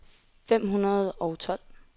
fem hundrede og tolv